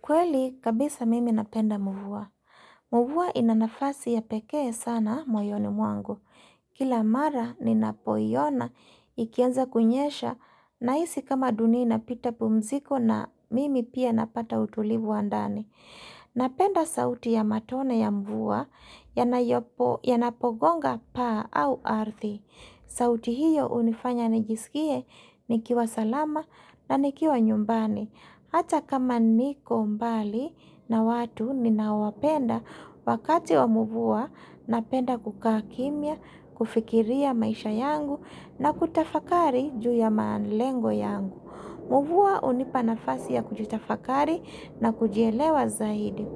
Kweli kabisa mimi napenda mvua. Mvua ina nafasi ya pekee sana moyoni mwangu. Kila mara ninapoiona ikianza kunyesha nahisi kama dunia inapita pumziko na mimi pia napata utulivu wa ndani. Napenda sauti ya matone ya mvua yanapogonga paa au arthi. Sauti hiyo hunifanya nijisikie nikiwa salama na nikiwa nyumbani. Hata kama niko mbali na watu ninaowapenda wakati wa mvua napenda kukaa kimia, kufikiria maisha yangu na kutafakari juu ya malengo yangu. Mvua hunipa nafasi ya kujitafakari na kujielewa zaidi.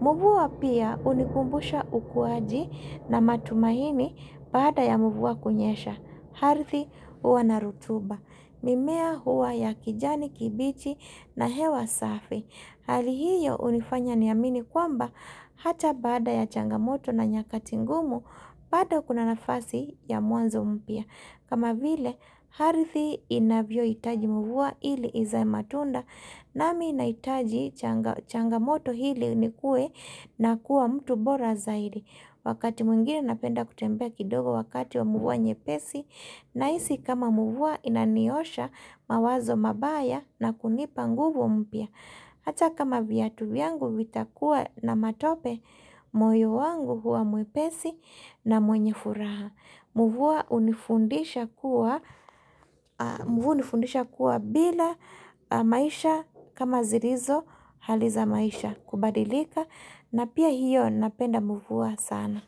Mvua pia hunikumbusha ukuaji na matumaini baada ya mvua kunyesha. Arthi huwa na rotuba. Mimea huwa ya kijani kibichi na hewa safi. Hali hiyo hunifanya niamini kwamba hata baada ya changamoto na nyakati ngumu bado kuna nafasi ya mwanzo mpya. Kama vile, arthi inavyohitaji mvua ili izae matunda, nami nahitaji changamoto ili nikue nakuwa mtu bora zaidi. Wakati mwingine napenda kutembea kidogo wakati wa mvua nyepesi, nahisi kama mvua inaniosha mawazo mabaya na kunipa nguvu mpya. Hata kama viatu vyangu vitakua na matope, moyo wangu huwa mwepesi na mwenye furaha. Mvua hunifundisha kuwa bila maisha kama zilizo hali za maisha kubadilika na pia hiyo napenda mvua sana.